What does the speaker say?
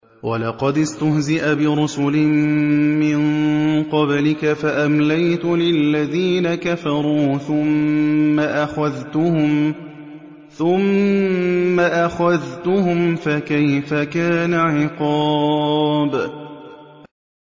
وَلَقَدِ اسْتُهْزِئَ بِرُسُلٍ مِّن قَبْلِكَ فَأَمْلَيْتُ لِلَّذِينَ كَفَرُوا ثُمَّ أَخَذْتُهُمْ ۖ فَكَيْفَ كَانَ عِقَابِ